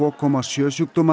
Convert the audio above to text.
komma sjö sjúkdóma